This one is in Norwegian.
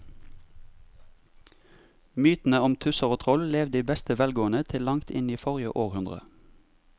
Mytene om tusser og troll levde i beste velgående til langt inn i forrige århundre.